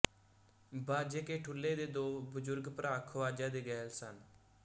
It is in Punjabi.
ਬਾਜੇ ਕੇ ਠੁੱਲ੍ਹੇ ਦੇ ਦੋ ਬਜ਼ੁਰਗ ਭਰਾ ਖੁਆਜ਼ਾ ਦੇ ਗਹਿਲ ਸਨ